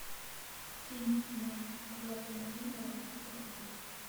кинь на оплату мобильного сто рублей